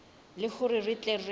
le hore re tle re